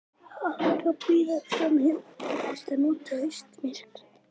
Það átti að bíða fram í ágúst og nota haustmyrkrið.